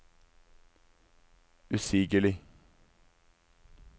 usigelig